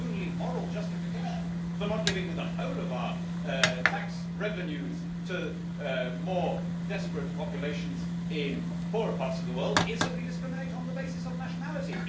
The only moral justification for not giving the whole of our tax revenues to more desperate populations in poorer parts of the world is that we discriminate on the basis of nationality.